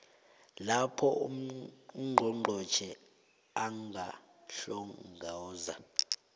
lapho ungqongqotjhe angahlongoza